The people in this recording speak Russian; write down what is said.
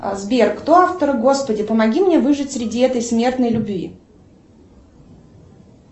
сбер кто автор господи помоги мне выжить среди этой смертной любви